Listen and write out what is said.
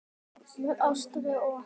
Jafnvel Ástríði og